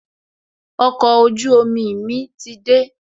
Okọ̀ ojú omi mi ti dé